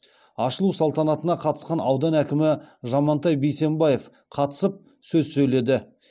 ашылу салтанатына қатысқан аудан әкімі жамантай бейсенбаев қатысып сөз сөйледі